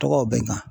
Tɔgɔw bɛ n kan